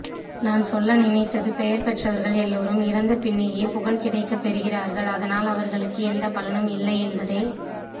நான்சொல்ல நினைத்ததுபெயர் பெற்றவர்கள் எல்லோரும் இறந்தபின்னேயே புகழ் கிடைக்கப் பெறுகிறார்கள் அதனால் அவர்களுக்கு எந்தப் பலனும் இல்லை என்பதே